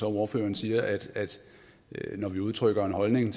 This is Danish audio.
ordføreren siger at det når vi udtrykker en holdning